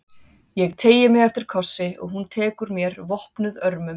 Ég teygi mig eftir kossi og hún tekur mér vopnuð örmum.